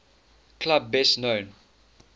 club best known